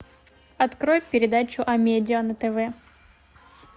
открой передачу амедиа на тв